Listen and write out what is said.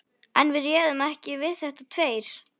En við réðum ekki við þetta tveir.